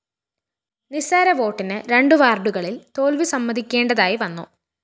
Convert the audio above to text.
നിസ്സാര വോട്ടിന് രണ്ടു വാര്‍ഡുകളില്‍ തോല്‍വി സമ്മതിക്കേണ്ടതായി വന്നു